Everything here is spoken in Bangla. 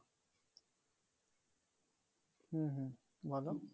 হুম হুম বলো